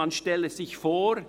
Man stelle sich vor: